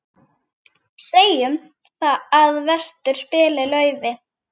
Segjum að vestur spili laufi.